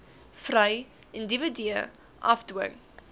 vry individue afdwing